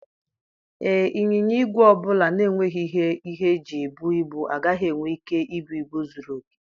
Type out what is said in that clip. Ee, ịnyịnya ígwè ọ bụla na-enweghị ihe ihe eji ebu ibu agaghị enwe ike ibu ibu zuru oke.